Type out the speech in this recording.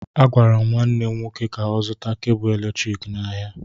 Agwara m nwanne m nwoke ka ọ zụta kebụ eletriki n'ahịa